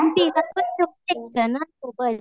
मग तिला पण घेऊन ये ना सोबत.